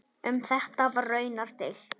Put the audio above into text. Um þetta var raunar deilt.